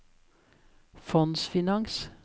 fondsfinans